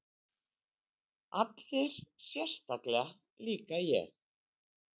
Allir sérstakir, líka ég?